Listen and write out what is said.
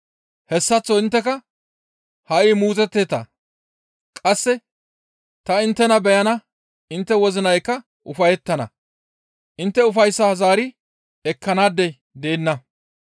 Hessaththo intteka ha7i muuzotteeta; qasse ta inttena beyana intte wozinaykka ufayettana; intte ufayssaa zaari ekkanaadey deenna.